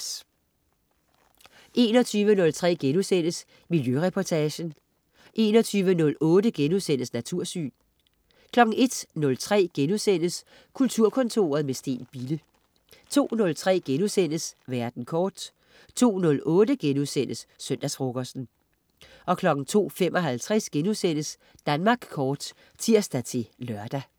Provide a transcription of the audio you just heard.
21.03 Miljøreportagen* 21.08 Natursyn* 01.03 Kulturkontoret, med Steen Bille* 02.03 Verden kort* 02.08 Søndagsfrokosten* 02.55 Danmark Kort* (tirs-lør)